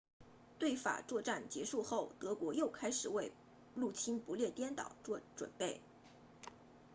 对法作战结束后德国又开始为入侵不列颠岛做准备